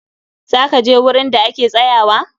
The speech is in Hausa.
zaka je wurin da ake tsayuwa?